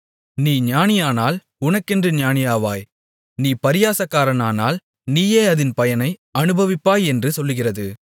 நீ ஞானியானால் உனக்கென்று ஞானியாவாய் நீ பரியாசக்காரனானால் நீயே அதின் பயனை அநுபவிப்பாய் என்று சொல்லுகிறது